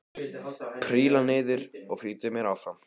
Príla niður og flýti mér fram.